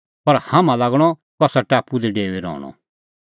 पर हाम्हां लागणअ कसा टापू दी डेऊई रहणअ